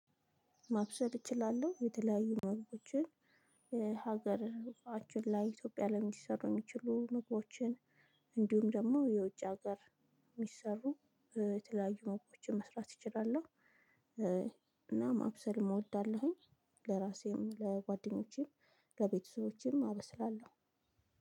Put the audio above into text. ማብሰል እችላለሁ የተለያዩ ምግቦችን ሀገር እቃችን ላይ ኢትዮጵያ ላይ ሊሰሩኝ የሚችሉ ምግቦችን እንዲሁም ደግሞ የውጭ ሀገር የሚሰሩ የተለያዩ ምግቦችን መስራት እችላለው። እና ማብሰልም እወዳለሁኝ። ለራሴም ለጓደኞቼም ለቤተሰቦችንም አበስላለሁ።